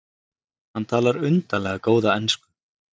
Hann talar undarlega góða ensku.